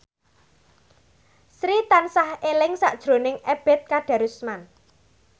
Sri tansah eling sakjroning Ebet Kadarusman